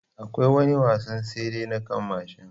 Akwai wani wasan tsere na kan mashin